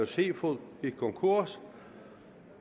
seafood gik konkurs